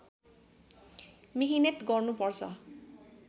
मिहिनेत गर्नुपर्छ